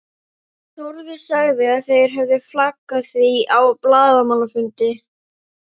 Þórður sagði að þeir hefðu flaggað því á blaðamannafundi.